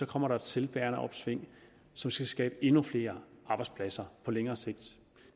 kommer der et selvbærende opsving som skal skabe endnu flere arbejdspladser på længere sigt